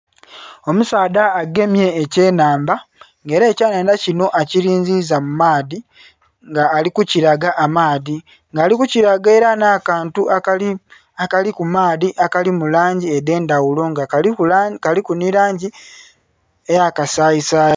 Omusaadha agemye ekye nhandha nga era ekye nhandha kinho akilinziza mu maadhi nga ali kukilaga amaadhi nga ali kukilaga era nha kantu akali ku maadhi akali mu langi edhendhaghulo nga kaliku nhi langi eya kasayisayi.